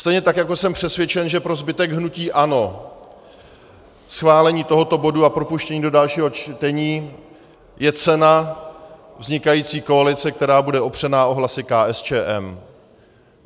Stejně tak jako jsem přesvědčen, že pro zbytek hnutí ANO schválení tohoto bodu a propuštění do dalšího čtení je cena vznikající koalice, která bude opřena o hlasy KSČM.